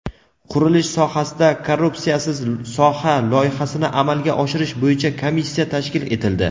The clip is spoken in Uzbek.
qurilish sohasida "Korrupsiyasiz soha" loyihasini amalga oshirish bo‘yicha komissiya tashkil etildi.